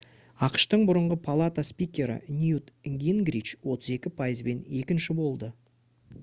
ақш-тың бұрынғы палата спикері ньют гингрич 32 пайызбен екінші болды